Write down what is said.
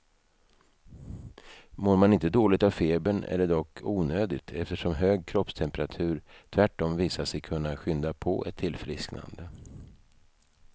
Mår man inte dåligt av febern är det dock onödigt, eftersom hög kroppstemperatur tvärtom visat sig kunna skynda på ett tillfrisknande.